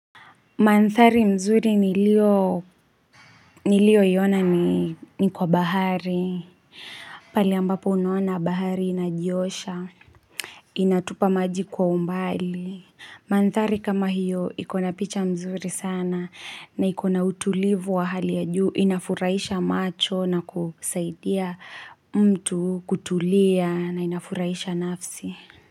Manthari nzuri nilio nilio yaona ni kwa bahari pale ambapo unaona bahari inajiosha Inatupa maji kwa umbali manthari kama hiyo ikona picha nzuri sana na ikona utulivu wa hali ya juu inafuraisha macho na kusaidia mtu kutulia na inafuraisha nafsi.